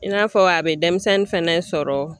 I n'a fɔ a be denmisɛnnin fɛnɛ sɔrɔ.